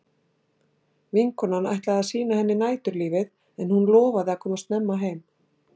Vinkonan ætlaði að sýna henni næturlífið en hún lofaði að koma snemma heim.